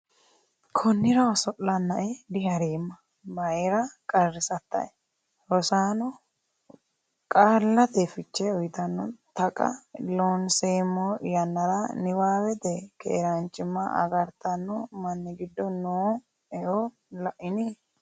Konnira oso’lannae diha’reemma, mayra qarrisattae? Rosaano qaallate fiche uytanno Taqa Loonseemmo yannara niwaawete keerenchima agartano manni giddo noo eo La’ini?